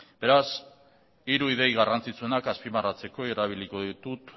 beraz hiru ideia garrantzitsuenak azpimarratzeko erabiliko ditut